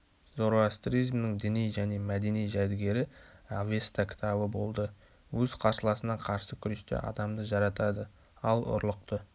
зороастризмнің діни және мәдени жәдігері авеста кітабы болды өз қарсыласына қарсы күресте адамды жаратады ал ұрлықты